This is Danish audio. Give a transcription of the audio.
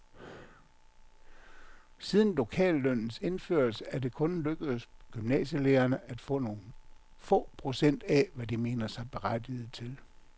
Siden lokallønnens indførelse er det kun lykkedes gymnasielærerne at få nogle få procent af, hvad de mener sig berettiget til.